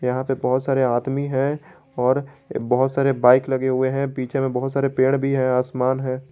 यहां पे बहुत सारे आदमी है और बहोत सारे बाइक लगे हुए हैं पीछे में बहुत सारे पेड़ भी है आसमान है।